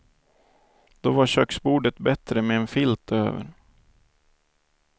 Då var köksbordet bättre med en filt över.